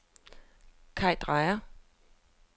Kaj Drejer